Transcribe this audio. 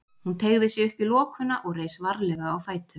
Hún teygði sig upp í lokuna og reis varlega á fætur.